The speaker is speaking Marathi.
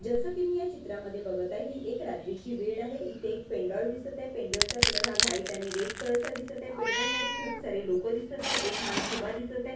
जसं की मी या चित्रामध्ये बघत आहे ही एक रात्रीची वेळ आहे इथं एक पेंडोल दिसत आहे पेंडोल चा कलर हा व्हाईट आणि रेड कलर चा दिसत आहे पेंडोल मध्ये खूप सारे लोकं दिसत आहे एक माणूस उभा दिसत आहे.